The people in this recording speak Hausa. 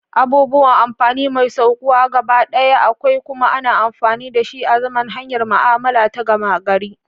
Abũbuwan amfãni: Mai šaukuwa, gabaɗaya akwai, kuma ana amfani dashi azaman hanyar ma'amala ta gama gari.